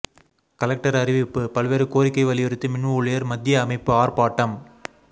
collector அறிவிப்பு பல்வேறு கோரிக்கை வலியுறுத்தி மின் ஊழியர் மத்திய அமைப்பு ஆர்ப்பாட்டம்